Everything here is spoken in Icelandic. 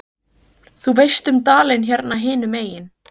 Þú veist um dalinn hérna hinum megin.